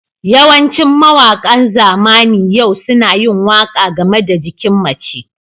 Yawancin mawaƙa zamanin yau suna yin waƙa game da jikin mace.